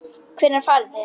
Hvenær farið þið?